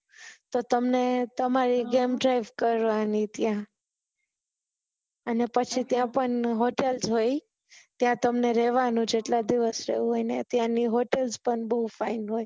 તો તમને તમારે જેમ drive કરવાની થી અને પછી ત્યાં પણ hotel હોયી ત્યાં તમને રેહવાની જેટલા દિવસ રહું હોય ત્યાં ને hotels પણ બહુ fine હોય